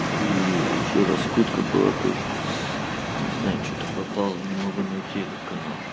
и ещё раскрутка была тоже не знаю что-то пропал не могу найти этот канал